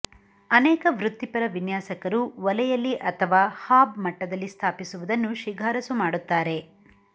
ಅನೇಕ ವೃತ್ತಿಪರ ವಿನ್ಯಾಸಕರು ಒಲೆಯಲ್ಲಿ ಅಥವಾ ಹಾಬ್ ಮಟ್ಟದಲ್ಲಿ ಸ್ಥಾಪಿಸುವುದನ್ನು ಶಿಫಾರಸು ಮಾಡುತ್ತಾರೆ